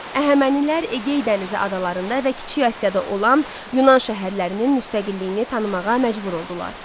Əhəmənilər Egey dənizi adalarında və Kiçik Asiyada olan Yunan şəhərlərinin müstəqilliyini tanımağa məcbur oldular.